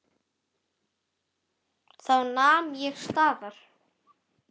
Þá nam ég staðar.